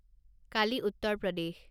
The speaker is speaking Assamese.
কালি উত্তাৰ প্ৰদেশ